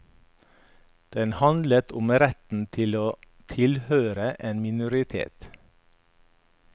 Den handlet om retten til å tilhøre en minoritet.